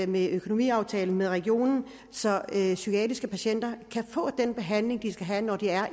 med økonomiaftalen med regionen så psykiatriske patienter kan få den behandling de skal have når de er